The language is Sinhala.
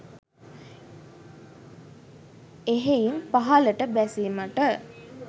එහෙයින් පහළට බැසීමට